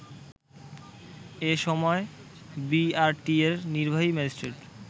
এ সময় বিআরটিএর নির্বাহী ম্যাজিস্ট্রেট